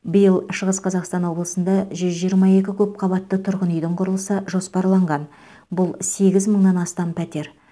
биыл шығыс қазақстан облысында жүз жиырма екі көпқабатты тұрғын үйдің құрылысы жоспарланған бұл сегіз мыңнан астам пәтер